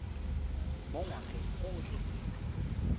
mo ngwageng o o tletseng